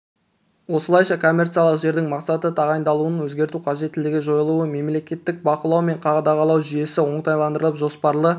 осылайша коммерциялық жердің мақсатты тағайындалуын өзгерту қажеттілігі жойылды мемлекеттік бақылау мен қадағалау жүйесі оңтайландырылып жоспарлы